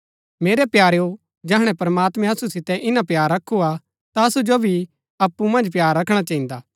मेरै प्यारेओ जैहणै प्रमात्मैं असु सितै इन्‍ना प्‍यार रखू हा ता असु जो भी अप्पु मन्ज प्‍यार रखणा चहिन्दा